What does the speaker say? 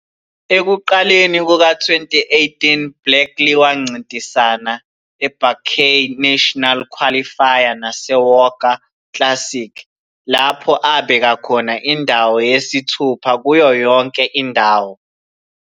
Ekuqaleni kuka-2018 Blakely wancintisana eBuckeye National Qualifier naseWOGA Classic, lapho abeka khona indawo yesithupha kuyo yonke indawo.